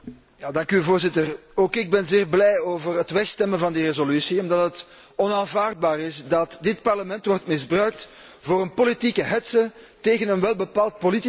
Voorzitter, ook ik ben zeer blij over het wegstemmen van de resolutie, omdat het onaanvaardbaar is dat dit Parlement wordt misbruikt voor een politieke hetze tegen een welbepaald politicus.